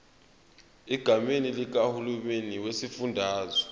egameni likahulumeni wesifundazwe